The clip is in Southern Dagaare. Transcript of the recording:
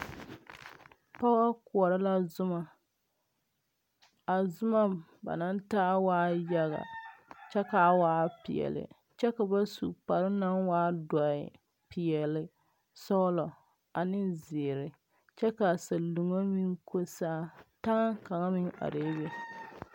Pɔge koɔrɔ la zuma a zuma ba naŋ taa waaɛ yaga kyɛ kaa waa peɛli kyɛ ba su kpare naŋ waa dɔɛ peɛli sɔglɔ ane zēēre kyɛ kaa saluoni meŋ ko saa taŋ kaŋ me arɛɛ be.